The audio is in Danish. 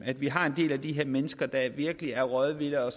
at vi har en del af de her mennesker der virkelig er rådvilde og